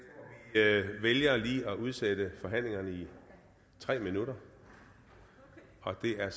jeg vælger lige at udsætte forhandlingerne i tre minutter og det er